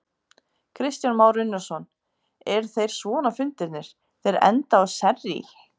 Kristján Már Unnarsson: Eru þeir svona fundirnir, þeir enda á sérrý?